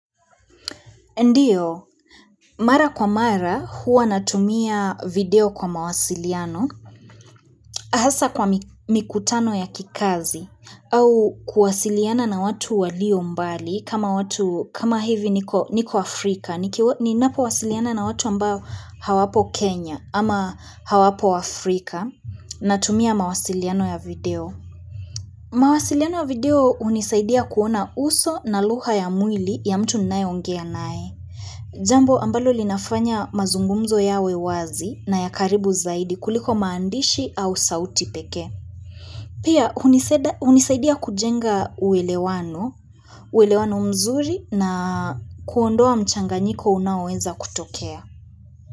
Ndiyo, mara kwa mara huwa natumia video kwa mawasiliano, hasa kwa mikutano ya kikazi, au kuwasiliana na watu walio mbali kama watu, kama hivi niko Afrika, ni napo wasiliana na watu ambao hawapo Kenya ama hawapo Afrika, natumia mawasiliano ya video. Mawasiliano video unisaidia kuona uso na lugha ya mwili ya mtu ninae ongea nae. Jambo ambalo linafanya mazungumzo yawe wazi na ya karibu zaidi kuliko maandishi au sauti pekee. Pia unisaidia kujenga uwelewano mzuri na kuondoa mchanganyiko unawenza kutokea.